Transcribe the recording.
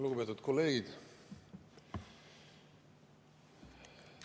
Lugupeetud kolleegid!